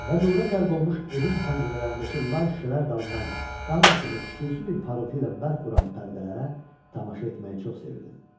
Və nura qərq olmuş evin pəncərələrindəki lay şüşələr dalından qan kimi xüsusi bir parıltı ilə bərq vuran pərdələrə tamaşa etməyi çox sevirdim.